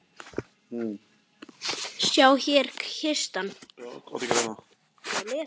Sjá, hér er kistan.